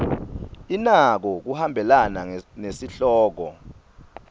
inako kuhambelana nesihloko